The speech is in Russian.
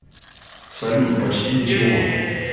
салют почти ничего